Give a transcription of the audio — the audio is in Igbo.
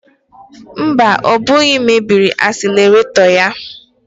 Mba, ọ bụghị m mebiri asileretọ ya